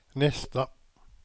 nästa